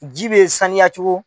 Ji bɛ sanuya cogo